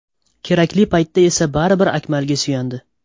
Kerakli paytda esa baribir Akmalga suyandi.